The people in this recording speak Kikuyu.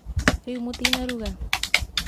rĩu mũtinaruga?